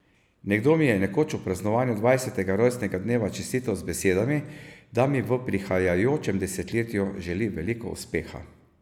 Nekdo mi je nekoč ob praznovanju dvajsetega rojstnega dneva čestital z besedami, da mi v prihajajočem desetletju želi veliko uspeha.